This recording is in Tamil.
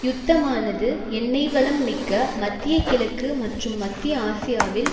யுத்தமானது எண்ணெய் வளம் மிக்க மத்திய கிழக்கு மற்றும் மத்திய ஆசியாவில்